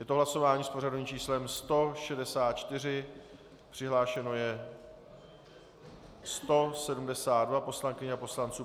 Je to hlasování s pořadovým číslem 164, přihlášeno je 172 poslankyň a poslanců.